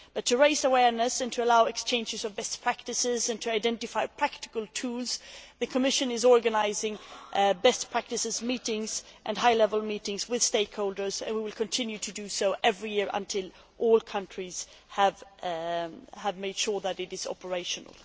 In order to raise awareness, allow exchanges of best practices and identify practical tools, the Commission is organising best practices meetings and high level meetings with stakeholders and will continue to do so every year until all countries have made sure that it is operational.